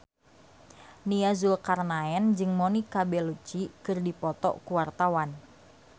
Nia Zulkarnaen jeung Monica Belluci keur dipoto ku wartawan